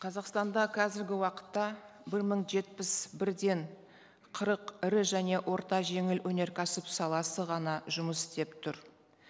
қазақстанда қазіргі уақытта бір мың жетпіс бірден қырық ірі және орта жеңіл өнеркәсіп саласы ғана жұмыс істеп тұр